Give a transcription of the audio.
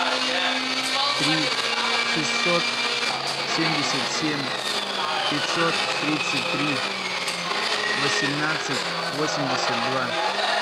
три шестьсот семьдесят семь пятьсот тридцать три восемнадцать восемьдесят два